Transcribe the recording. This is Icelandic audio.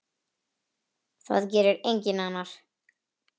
Það gerir enginn annar.